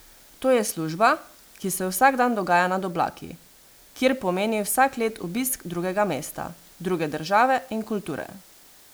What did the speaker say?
To je služba, ki se vsak dan dogaja nad oblaki, kjer pomeni vsak let obisk drugega mesta, druge države in kulture.